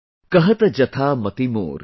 Kahat jathaa mati mor